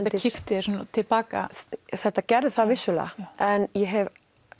þetta kippti þér til baka þetta gerði það vissulega en ég hef